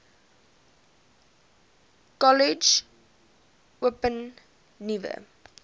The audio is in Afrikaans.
kollege open nuwe